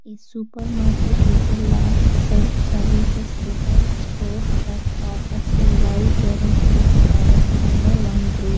a supermarket is a large self services retail store that offers a wide variety of products under one roof.